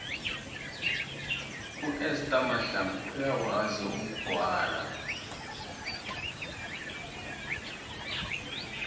uester mahlangu uyakwazi ukugwala